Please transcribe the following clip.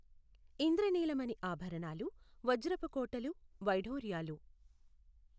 ఇంద్రనీలమణి ఆభరణాలు వజ్రపు కోటలు వైఢూర్యాలు